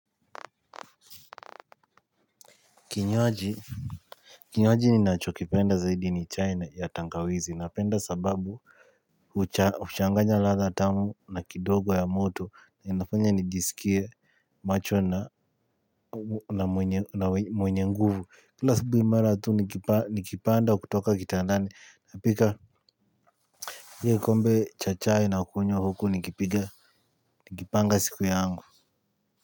Kinywaji. Kinywaji ninacho kipenda zaidi ni chai ya tangawizi napenda sababu changanya ladha tamu na kidogo ya moto. Inafanya nijisikie macho na na mwenye nguvu. Kila asubuhi mara tu nikipanda kutoka kitandani napika. Ie kombe cha chai nakunywa huku nikipiga nikipanga siku yangu.